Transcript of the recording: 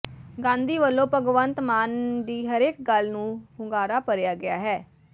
ਗਾਂਧੀ ਵੱਲੋਂ ਭਗਵੰਤ ਮਾਨ ਦੀ ਹਰੇਕ ਗੱਲ ਨਾਲ ਹੁੰਗਾਰਾ ਭਰਿਆ ਗਿਆ ਹੈ